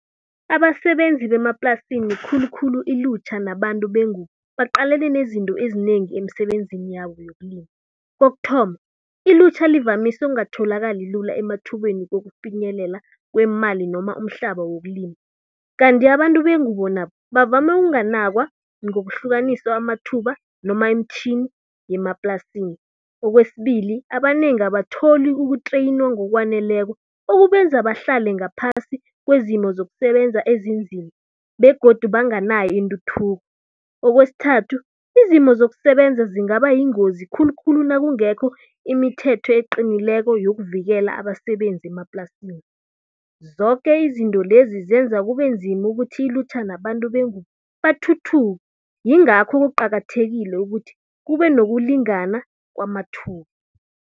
Abasebenzi bemaplasini khulukhulu ilutjha nabantu bengubo, baqalene nezinto ezinengi emsebenzini yabo yokulima. Kokuthoma, ilutjha livamise ungatholakali lula emathubeni wokufinyelela kweemali noma umhlaba wokulima. Kanti abantu bengubo nabo, bavama ukunganakwa ngokuhlukaniswa amathuba noma imitjhini yemaplasini. Okwesibili, abanengi abatholi ukuthreyinwa ngokwaneleko okubenza bahlale ngaphasi kwezimo zokusebenza ezinzima begodu banganayo intuthuko. Okwesithathu, izimo zokusebenza zingaba yingozi khulukhulu nakungekho imithetho eqinileko yokuvikela abasebenzi emaplasini. Zoke izinto lezi zenza kube nzima ukuthi ilutjha nabantu bengubo bathuthuke. Yingakho kuqakathekile ukuthi kube nokulingana kwamathuba.